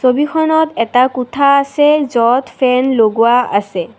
ছবিখনত এটা কোঠা আছে য'ত ফেন লগোৱা আছে।